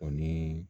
O ni